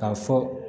K'a fɔ